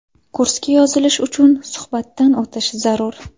Kursga yozilish uchun suhbatdan o‘tish zarur.